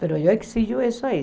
Mas eu exijo isso aí.